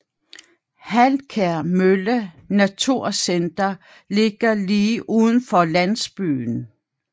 Halkær Mølle Naturcenter ligger lige uden for landsbyen